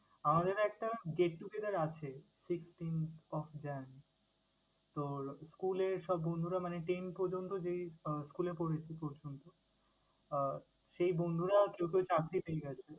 আমাদের একটা get together আছে sixteenth of Jan তোর school এর সব বন্ধুরা মানে ten পর্যন্ত যে school এ পড়েছি এই পর্যন্ত আহ সেই বন্ধুরা ছোট চাকরি পেয়ে গেছে।